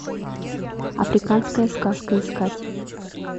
африканская сказка искать